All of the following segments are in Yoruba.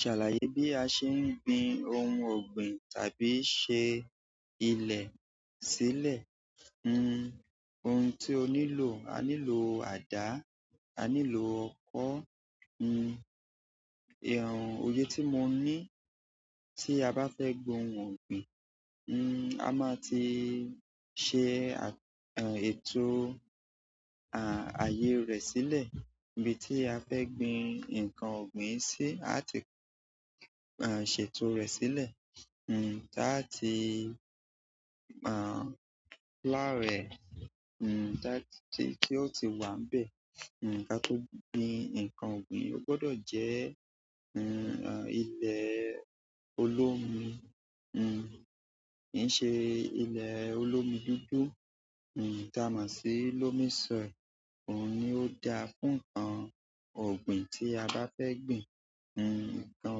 Ṣàlàyé bí a ṣe ń gbin ohun ọ̀gbìn tàbí ṣe ilẹ̀ sílẹ̀. Hmm, ohun tí o nílò, a nílò àdá, a nílò ọkọ́, hmm, ẹh, òye tí mo ní tí a bá fẹ́ gbin ohun ọ̀gbìn, hmm, a máa ti ṣe, eh, ètò, ah, ayé rẹ̀ sílẹ̀. Ibi tí a fẹ́ gbin nǹkan ọ̀gbìn sí, a ti, eh, ṣètò rẹ̀ sílẹ̀, hmm, láti, ah, láàárẹ̀, hmm, láti tí ó ti wà nbẹ́ẹ̀, hmm, ká tó gbin ǹkan ọ̀gbìn. Ó gbọdọ̀ jẹ́, hmm, ilẹ̀ olómi, hmm, kì í ṣe ilẹ̀ olómi dúdú, hmm, ta mo si lómi sọì. Òun ni ó da fún ǹkan ọ̀gbìn tí a bá fẹ́ gbin, hmm, ǹkan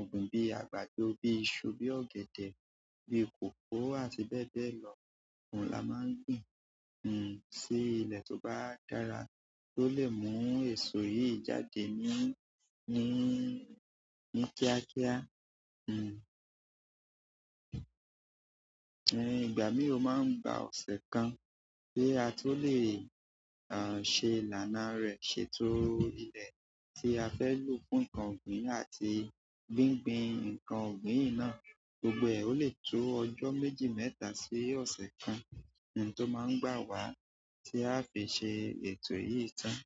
ọ̀gbìn bí àgbàdo, bí iṣu, bí ọ̀gẹ̀dẹ̀, bí kòkó àti bẹ́ẹ̀ bẹ́ẹ̀ lọ. Òun la máa ń gbin, hmm, sí ilẹ̀ tó bá dára, tó lè mú èso yìí jáde ní, ní kíákíá, hmm. En ìgbà mìíràn ó máa ń gba ọ̀sẹ̀ kan bí a tó lè, ah, ṣe ìlànà rẹ̀, ṣètò ilẹ̀ tí a fẹ́ lò fún ǹkan ọ̀gbìn àti gbín gbín ǹkan ọ̀gbìn náà. Gbogbo ẹ, ó lè tó ọjọ́ méjì mẹ́ta sí ọ̀sẹ̀ kan, hmm, tó máa ń gbà wá tí a fi ṣe ètò yìí tán.